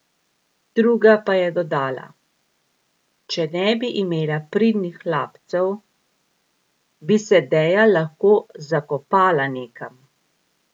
Druga pa je dodala: "Če ne bi imela pridnih hlapcev, bi se Deja lahko zakopala nekam.